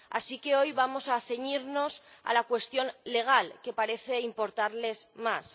Así que hoy vamos a ceñirnos a la cuestión legal, que parece importarles más.